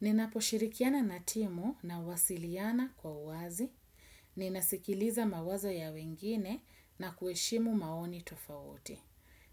Ninapo shirikiana natimu nawasiliana kwa uazi. Ninasikiliza mawazo ya wengine na kueshimu maoni tofawote.